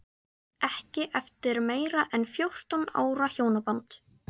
Ekki eftir meira en fjórtán ára hjónaband.